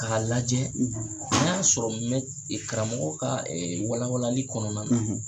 K'a lajɛ n'a y'a sɔrɔ karamɔgɔ ka walawalali kɔnɔna na